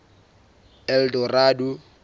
eldorado